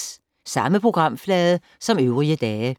Samme programflade som øvrige dage